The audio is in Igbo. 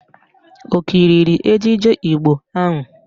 Ọ kiriri ejije Igbo ahụ?